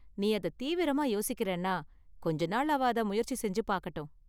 நீ அதை தீவிரமா யோசிக்கிறேன்னா கொஞ்ச நாள் அவ அதை முயற்சி செஞ்சு பாக்கட்டும்.